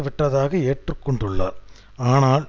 விட்டதாக ஏற்று கொண்டுள்ளார் ஆனால்